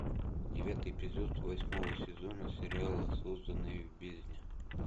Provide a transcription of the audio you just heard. девятый эпизод восьмого сезона сериала созданные в бездне